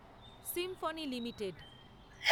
Symphony limited